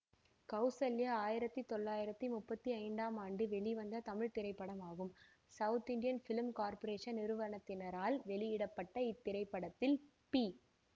கௌசல்யா ஆயிரத்தி தொள்ளாயிரத்தி முப்பத்தி ஐந்தாம் ஆண்டு வெளிவந்த தமிழ் திரைப்படமாகும் சவுத் இண்டியன் பிலிம் கார்பொரேசன் நிறுவனத்தினரால் வெளியிட பட்ட இத்திரைப்படத்தில் பி